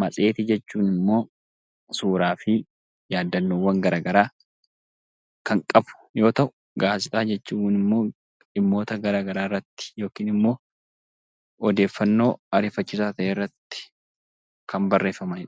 matseetii jechuun immoo suuraa fi yaadannoowwan garaagaraa kan qabu yoo ta'u, gaazexaa jechuun immoo dhimmoota garaagaraa irratti yookiin immoo odeeffannoo ariifachiisaa ta'e irratti kan barreeffamanii dha.